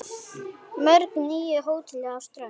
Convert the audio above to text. Mörg nýju hótelin á strönd